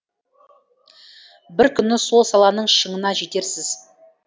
бір күні сол саланың шыңына жетерсіз